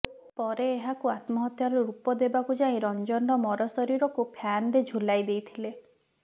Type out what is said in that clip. ପରେ ଏହାକୁ ଆତ୍ମହତ୍ୟାର ରୂପ ଦେବାକୁ ଯାଇ ରଞ୍ଜନର ମରଶରୀରକୁ ଫ୍ୟାନ୍ରେ ଝୁଲାଇ ଦେଇଥିଲେ